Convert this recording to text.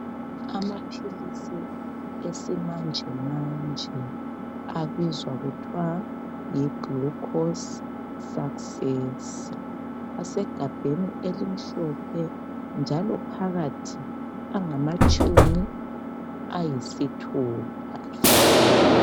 Amaphilisi esimanje manje abizwa kuthwayi"Glucose success" asegabheni elimhlophe, njalo phakathi angamatshumi ayisithupha.